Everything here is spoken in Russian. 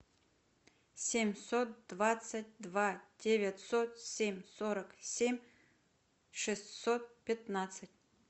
семьсот двадцать два девятьсот семь сорок семь шестьсот пятнадцать